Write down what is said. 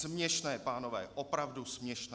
Směšné, pánové, opravdu směšné.